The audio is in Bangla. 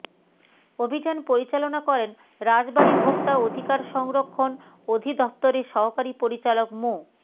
অভিযান পরিচালনা করেন রাজবাড়ী ভোক্তা অধিকার সংরক্ষণ অধিদফতরের সহকারী পরিচালক মো